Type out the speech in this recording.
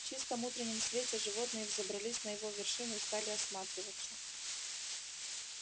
в чистом утреннем свете животные взобрались на его вершину и стали осматриваться